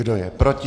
Kdo je proti?